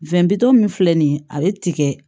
bitɔn min filɛ nin ye ale ti kɛ